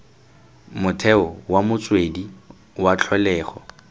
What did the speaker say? motheo wa motswedi wa tlholego